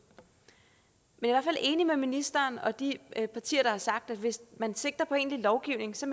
men jeg enig med ministeren og de partier der har sagt at hvis man sigter på egentlig lovgivning så